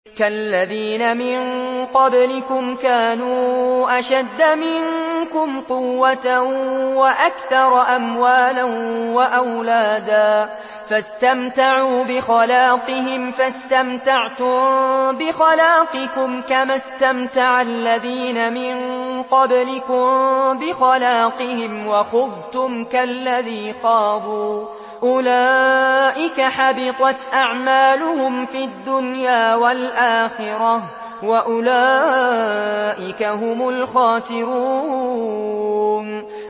كَالَّذِينَ مِن قَبْلِكُمْ كَانُوا أَشَدَّ مِنكُمْ قُوَّةً وَأَكْثَرَ أَمْوَالًا وَأَوْلَادًا فَاسْتَمْتَعُوا بِخَلَاقِهِمْ فَاسْتَمْتَعْتُم بِخَلَاقِكُمْ كَمَا اسْتَمْتَعَ الَّذِينَ مِن قَبْلِكُم بِخَلَاقِهِمْ وَخُضْتُمْ كَالَّذِي خَاضُوا ۚ أُولَٰئِكَ حَبِطَتْ أَعْمَالُهُمْ فِي الدُّنْيَا وَالْآخِرَةِ ۖ وَأُولَٰئِكَ هُمُ الْخَاسِرُونَ